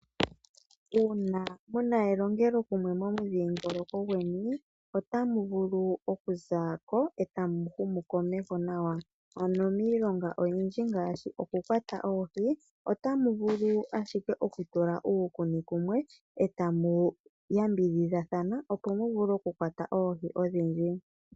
Uuna muna elongelo kumwe momu dhiingoloko gweni, otamu vulu oku zako etamu humu komeho nawa. Ano miilonga oyindji ngaashi oku kwata oohi otamu vulu ashike oku tula uukuni kumwe, etamu yambidhidhathana opo muvule oku kwata oohi odhindji.